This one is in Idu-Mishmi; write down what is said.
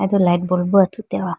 tu light bulb bo athu te howa.